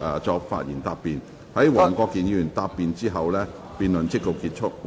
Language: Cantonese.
在黃國健議員答辯後，辯論即告結束。